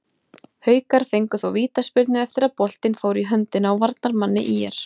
Haukar fengu þó vítaspyrnu eftir að boltinn fór í höndina á varnarmanni ÍR.